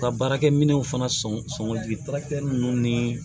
U ka baarakɛminɛw fana sɔn ninnu ni